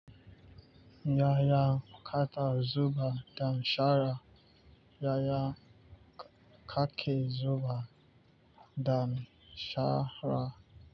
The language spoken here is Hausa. Ya ya kake zubar da shara? Ya ya kake zubae da shara?